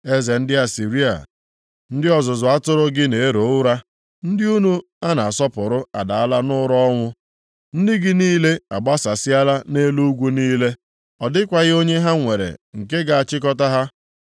Eze ndị Asịrịa, ndị ọzụzụ atụrụ + 3:18 Maọbụ, ndị ndu gị na-ero ụra, ndị unu a na-asọpụrụ adaala nʼụra ọnwụ. Ndị gị niile agbasasịala nʼelu ugwu niile, ọ dịkwaghị onye ha nwere nke ga-achịkọta ha.